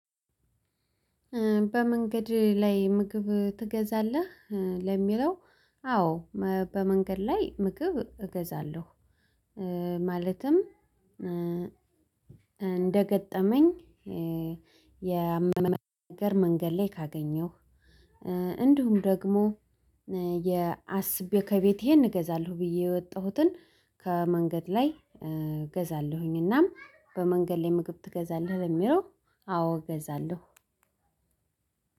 በመንገድ ላይ ምግብ ትገዛለህ ለሚለው? አዎ በመንገድ ላይ ምግብ እገዛለሁ። ማለትም እንደገጠመኝ። የመንገድ ላይ ካገኘሁ። እንዲሁም ደግሞ የአስቤ ከቤቴ ይሄን እገዛለሁ ብዬ የወጣሁትን። ከመንገድ ላይ እገዛለሁኝ። እናም በመንገድ ላይ ምግብ ትገዛለህ ለሚለው? አዎ እገዛለሁ።